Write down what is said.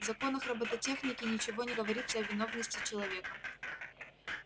в законах роботехники ничего не говорится о виновности человека